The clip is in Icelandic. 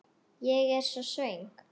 Ég er svo svöng.